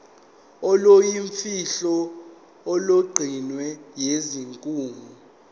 oluyimfihlo olugcinwe yisikhungo